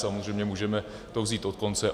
Samozřejmě můžeme to vzít od konce.